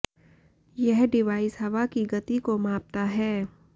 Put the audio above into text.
यह डिवाइस हवा की गति को मापता है